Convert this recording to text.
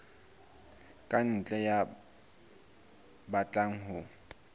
ka ntle ya batlang ho